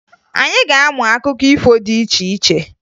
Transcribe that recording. Anyị ga-amụ akụkọ ifo dị iche iche